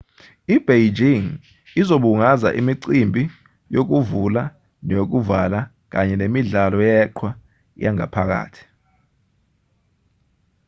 i-beijing izobungaza imicimbi yokuvula neyokuvala kanye nemidlalo yeqhwa yangaphakathi